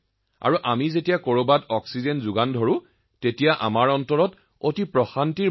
আৰু আমি যলৈকে যাওঁ আৰু অক্সিজেন খালী কৰি সুখী অনুভৱ কৰো